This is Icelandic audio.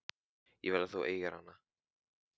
Ég vil að þú eigir hana.